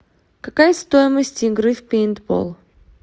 какая стоимость игры в пейнтбол